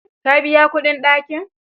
Ka biya kuɗin ɗakin?